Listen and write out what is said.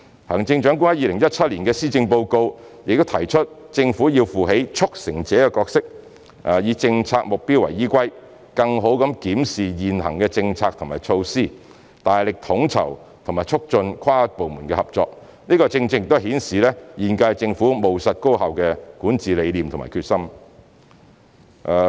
行政長官在2017年施政報告提出政府要負起"促成者"的角色，以政策目標為依歸，更好地檢視現行的政策和措施，大力統籌和促進跨部門合作，這正正顯示現屆政府務實高效的管治理念和決心。